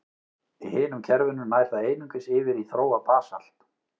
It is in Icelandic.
Í hinum kerfunum nær það einungis yfir í þróað basalt.